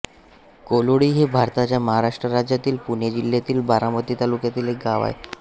कोलोळी हे भारताच्या महाराष्ट्र राज्यातील पुणे जिल्ह्यातील बारामती तालुक्यातील एक गाव आहे